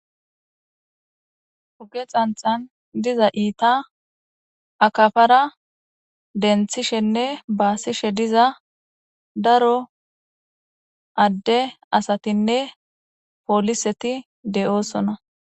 huge xanxan diza iita akafara denthishenne baasishe diza daro adde asatinne pooliseti de7oosona